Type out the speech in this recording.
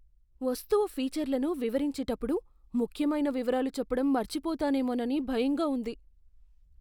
వస్తువు ఫీచర్లను వివరించేటప్పుడు ముఖ్యమైన వివరాలు చెప్పడం మర్చిపోతానేమోనని భయంగా ఉంది.